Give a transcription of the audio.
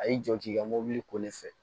A y'i jɔ k'i ka mobili ko ne fɛ